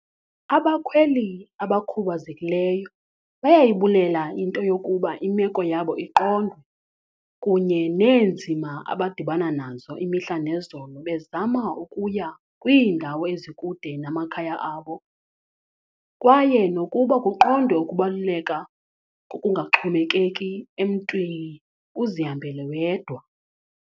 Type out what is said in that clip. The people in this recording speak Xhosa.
"Abakhweli abakhubazekileyo bayayibulela into yokuba imeko yabo iqondwe kunye neenzima abadibana nazo imihla nezolo bezama ukuya kwiindawo ezikude namakhaya abo, kwaye nokuba kuqondwe ukubaluleka kokungaxhomekeki emntwini, uzihambele wedwa."